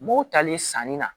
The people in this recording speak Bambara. M'o tali sanni na